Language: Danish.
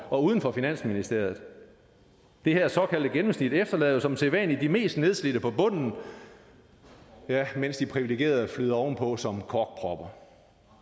og uden for finansministeriet det her såkaldte gennemsnit efterlader som sædvanlig de mest nedslidte på bunden ja mens de privilegerede flyder ovenpå som korkpropper